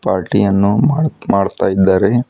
Party ಅನ್ನು ಮಾಡು ಮಾಡುತ್ತಾ ಇದ್ದಾರೆ.